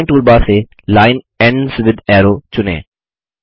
drawing toolbar से line ends with arrow चुनें